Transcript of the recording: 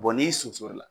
n'i sunsoro la